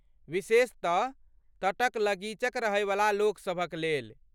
विशेषतः तटक लगीचक रहैवला लोकसभक लेल।